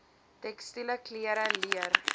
tekstiele klere leer